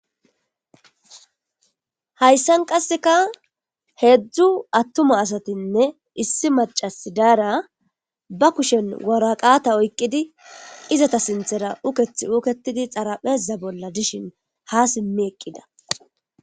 Hayssan qasseka heedzdzu attuma asatinne issi macasi daara ba kushen woraqata oyqqidi izata sinthera ukethi uketidi xarapeza bolla dishin ha simmi eqqida.